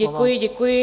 Děkuji, děkuji.